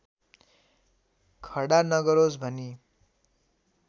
खडा नगरोस् भनी